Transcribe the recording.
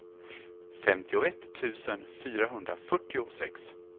femtioett tusen fyrahundrafyrtiosex